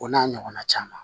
O n'a ɲɔgɔnna caman